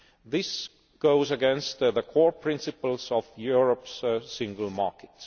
This goes against the core principles of Europe's single market.